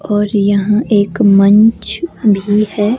और यहाँ एक मंच भी है।